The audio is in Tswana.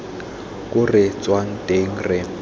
ko re tswang teng re